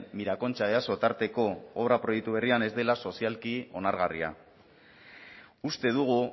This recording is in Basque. mirakontxa easo tarteko obra proiektu berrian ez dela sozialki onargarria uste dugu